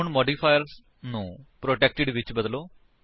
ਹੁਣ ਮੋਡੀਫਾਇਰ ਨੂੰ ਪ੍ਰੋਟੈਕਟਿਡ ਵਿੱਚ ਬਦਲੋ